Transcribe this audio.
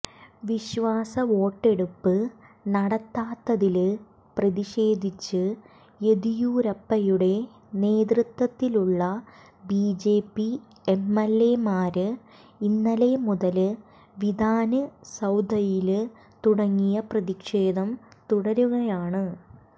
വിശ്വാസവോട്ടെടുപ്പ് നടത്താത്തില് പ്രതിഷേധിച്ച് യെദിയൂരപ്പയുടെ നേതൃത്വത്തിലുള്ള ബിജെപി എംഎല്എമാര് ഇന്നലെ മുതല് വിധാന് സൌധയില് തുടങ്ങിയ പ്രതിഷേധം തുടരുകയാണ്